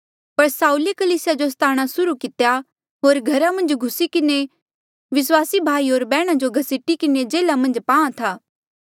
पर साऊले कलीसिया जो सताणा सुर्हू कितेया होर घरा मन्झ घुसी किन्हें विस्वासी भाई होर बैहणा जो घसीटी किन्हें जेल्हा मन्झ पाहां था